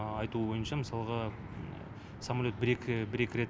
айтуы бойынша мысалға самолет бір екі бір екі рет